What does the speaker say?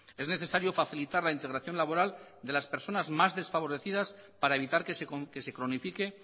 es necesario facilitar la integración laboral de las personas más desfavorecidas para evitar que se cronifique